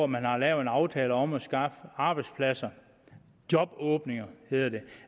man har lavet en aftale med om at skaffe arbejdspladser jobåbninger hedder det